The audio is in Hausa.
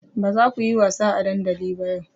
Ba za ku yi wasa a dandali ba yau!